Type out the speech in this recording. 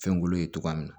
Fɛnkolo ye togoya min na